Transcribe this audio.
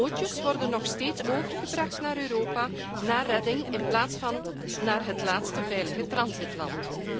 Bootjes worden nog steeds overgebracht naar Europa, naar redding in plaats van naar het laatste veilige doorreisland.